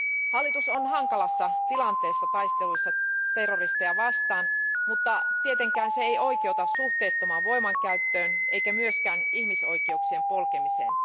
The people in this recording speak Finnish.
Hallitus on hankalassa tilanteessa taistelussa terroristeja vastaan, mutta tietenkään se ei oikeuta suhteettomaan voimankäyttöön eikä myöskään ihmisoikeuksien polkemiseen.